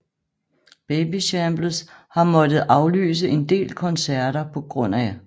Babyshambles har måttet aflyse en del koncerter pga